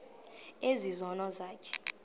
ezi zono zakho